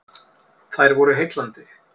Þær voru heillandi.